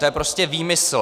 To je prostě výmysl.